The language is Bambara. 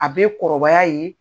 A bɛ kɔrɔbaya yen.